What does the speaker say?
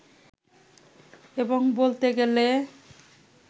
এবং বলতে গেলে